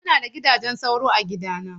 Muna da gidajen sauro a gidana.